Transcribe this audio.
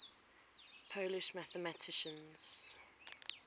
polish mathematicians